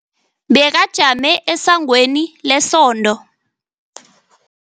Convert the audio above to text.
Bekajame esangweni lesondo.